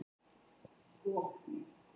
Maðurinn er á skilorði vegna fíkniefnabrota